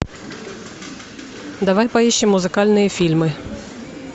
давай поищем музыкальные фильмы